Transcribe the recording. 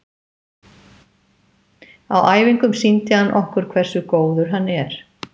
Á æfingum sýndi hann okkur hversu góður hann er.